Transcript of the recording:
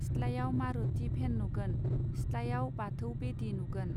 सिथ्लायाव मारूति भेन नुगोन सिथ्लायाव बाथौ बेदी नुगोन.